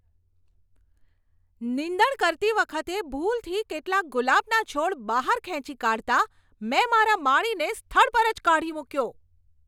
નીંદણ કરતી વખતે ભૂલથી કેટલાક ગુલાબના છોડ બહાર ખેંચી કાઢતાં મેં મારા માળીને સ્થળ પર જ કાઢી મૂક્યો.